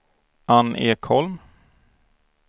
Ann Ekholm